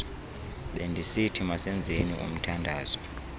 bendisithi masenzeni umthandazo